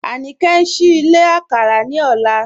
Anike n ṣìí ìlẹ̀ àkàrà ní ọ̀lá